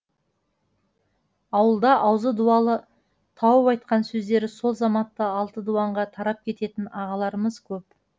ауылда аузы дуалы тауып айтқан сөздері сол заматта алты дуанға тарап кететін ағаларымыз көп